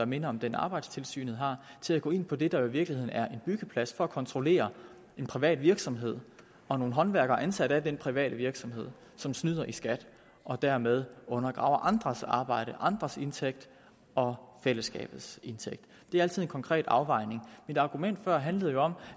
minder om den arbejdstilsynet har til at gå ind på det der i virkeligheden er en byggeplads for at kontrollere en privat virksomhed og nogle håndværkere ansat af den private virksomhed som snyder i skat og dermed undergraver andres arbejde andres indtægt og fællesskabets indtægt det er altid en konkret afvejning mit argument før handlede jo om